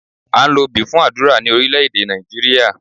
À ń lo obì fún àdúrà ní Orílẹ́èdè Nàìjíríà